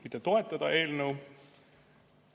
Mitte toetada eelnõu.